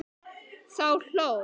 Þá hló